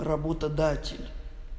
работодатель